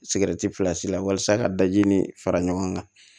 filasi la walasa ka daji ni fara ɲɔgɔn kan